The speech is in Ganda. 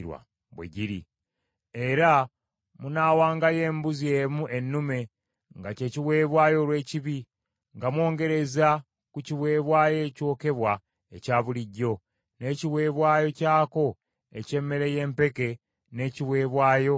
Era munaawangayo embuzi emu ennume, nga kye kiweebwayo olw’ekibi, nga mwongerereza ku kiweebwayo ekyokebwa ekya bulijjo, n’ekiweebwayo kyako eky’emmere y’empeke n’ekiweebwayo ekyokunywa.